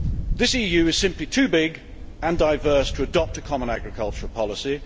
The EU is simply too big and diverse to adopt a common agricultural policy.